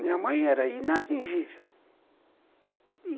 Minha mãe era inatingível.